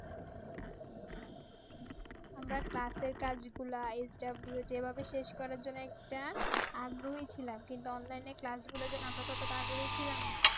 আমরা Class এর কাজগুলা যেভাবে শেষ করা জন্য একটা আগ্রহী ছিলাম কিন্তু Online এ Class গুলো কিন্তু আমরা অতটা আগ্রহী ছিলাম না